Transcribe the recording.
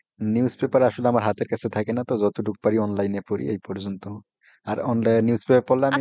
newspaper আসলে হাতের কাছে থাকে না তো, যতটুকু পারি অনলাইনে পরি এই পর্যন্তআর online newspaper,